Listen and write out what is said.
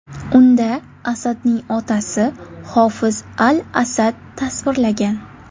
Unda Asadning otasi, Hofiz al-Asad tasvirlagan.